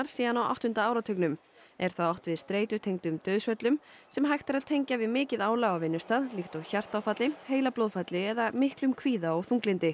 síðan á áttunda áratugnum er þá átt við dauðsföll sem hægt er að tengja við mikið álag á vinnustað líkt og vegna hjartaáfalls heilablóðfalls eða mikils kvíða og þunglyndis